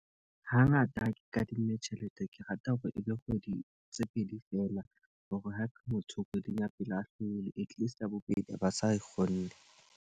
Ha ngata ha ke kadimme tjhelete, ke rata hore e be kgwedi tse pedi fela. Hore ha motho kgweding ya pele a hlolehile at least ya bobedi a ba sa kgonne.